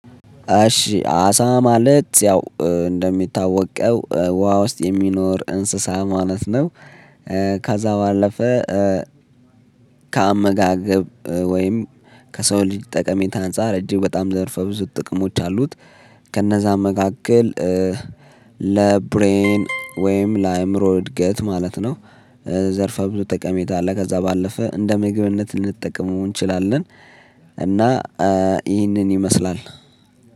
እሺ አሳ ማለት ያው እንደሚታወቀው ውሃ ውስጥ የሚኖር እንስሳ ማለት ነው። ካዛ ባለፈ ከአመጋገብ ወይም ከሰው ልጅ ጠቀሜታ አንፃር እጅግ በጣም ዘርፈ ብዙ ጥቅሞች አሉት። ከነዛ መካከል ለብሬን ወይም ለአእምሮ እድገት ማለት ነው። ዘርፈ ብዙ ጠቀሜታ አለ ከዛ ባለፈ እንደ ምግብነት ልንጠቀመው እንችላለን። እና ይህንን ይመስላል